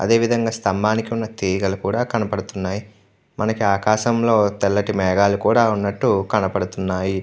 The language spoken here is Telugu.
అదే విదంగా స్తంభాలకు ఉన్న తీగలు కూడా కనబడుతున్నాయి మనకు ఆకాశంలో తెల్లటి మేఘాలు కూడా ఉన్నట్టు కనబడుతున్నాయి.